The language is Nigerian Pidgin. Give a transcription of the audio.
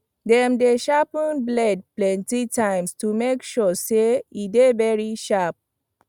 dem dey sharpen blade plenty times to make sure say e dey very sharp